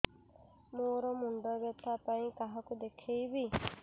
ମୋର ମୁଣ୍ଡ ବ୍ୟଥା ପାଇଁ କାହାକୁ ଦେଖେଇବି